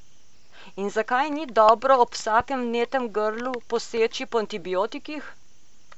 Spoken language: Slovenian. In zakaj ni dobro ob vsakem vnetem grlu poseči po antibiotikih?